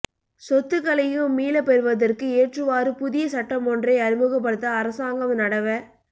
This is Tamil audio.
சொத்துக்களையும் மீளப் பெறுவதற்கு ஏற்றவாறு புதிய சட்டமொன்றை அறிமுகப்படுத்த அரசாங்கம் நடவ